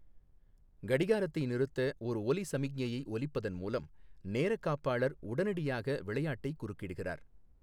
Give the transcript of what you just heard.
கடிகாரத்தை நிறுத்த ஒரு ஒலி சமிக்ஞையை ஒலிப்பதன் மூலம் நேரக்காப்பாளர் உடனடியாக விளையாட்டை குறுக்கிடுகிறார்.